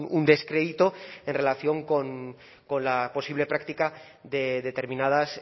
un descrédito en relación con la posible práctica de determinadas